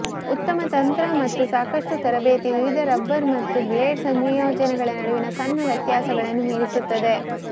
ಉತ್ತಮ ತಂತ್ರ ಮತ್ತು ಸಾಕಷ್ಟು ತರಬೇತಿ ವಿವಿಧ ರಬ್ಬರ್ ಮತ್ತು ಬ್ಲೇಡ್ ಸಂಯೋಜನೆಗಳ ನಡುವಿನ ಸಣ್ಣ ವ್ಯತ್ಯಾಸಗಳನ್ನು ಮೀರಿಸುತ್ತದೆ